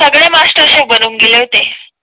सगळे master chef बनून गेले होते